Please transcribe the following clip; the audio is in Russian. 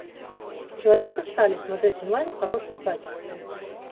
человек из стали смотреть онлайн в хорошем качестве